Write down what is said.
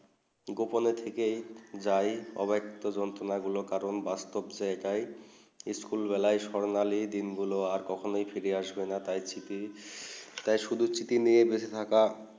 গোপন থেকে যাই অব একটা যন্তনা গুলু বাস্তব জিজ্ঞাই স্কুল বেলা স্বার্ণালী দিন গুলু আর খক্ষণে ফিরে আসবে না তাই ছিটি তাই শুধু ছিটি নিয়ে বেঁচে থাকা